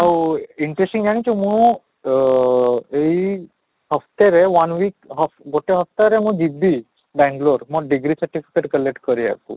ଆଉ interesting ଜାଣିଛ ମୁଁ ଅଃ ଏଇ ହପ୍ତେରେ one week ଗୋଟେ ହପ୍ତେରେ ମୁଁ ଯିବି ବେଙ୍ଗାଲୁରୁ ମୋ degree certificate collect କରିବାକୁ